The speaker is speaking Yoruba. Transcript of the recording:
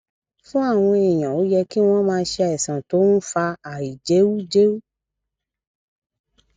fún àwọn èèyàn ó yẹ kí wón máa ṣe àìsàn tó ń fa àìjẹújẹú